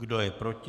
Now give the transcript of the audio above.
Kdo je proti?